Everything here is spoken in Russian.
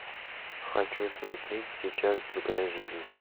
хочу смотреть сейчас другая жизнь